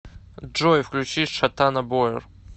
джой включи шатана бояр